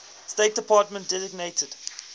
state department designated